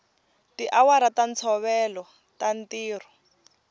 tiawara ta ntolovelo ta ntirho